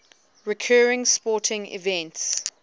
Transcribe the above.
recurring sporting events